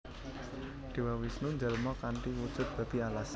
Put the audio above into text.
Dewa Wisnu njalma kanthi wujud Babi Alas